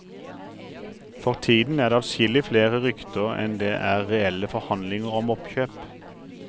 For tiden er det adskillig flere rykter enn det er reelle forhandlinger om oppkjøp.